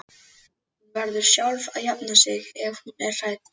Hún verður sjálf að jafna sig ef hún er hrædd.